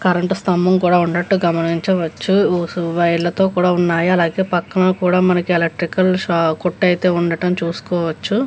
Current స్తంభం కూడా ఉన్నట్టు గమనించవచ్చు వైర్లతో కూడా ఉన్నాయి అలాగే పక్కన కూడా మనకి ఎలక్ట్రికల్ కొట్టు అయితే ఉండటం చూసుకోవచ్చు.